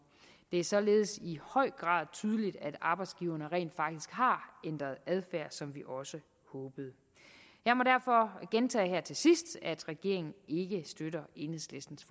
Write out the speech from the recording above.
det er således i høj grad tydeligt at arbejdsgiverne rent faktisk har ændret adfærd som vi også håbede jeg må derfor gentage her til sidst at regeringen ikke støtter enhedslistens